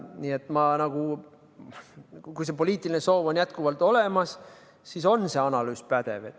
Nii et kui see poliitiline soov on jätkuvalt olemas, siis on see analüüs pädev.